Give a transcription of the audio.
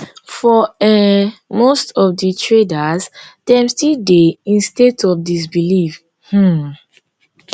for um most of di traders dem still dey in state of disbelief um